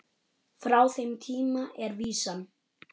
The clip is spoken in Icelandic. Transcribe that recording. Frá þeim tíma er vísan